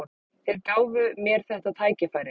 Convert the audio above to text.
Þeir gáfu mér þetta tækifæri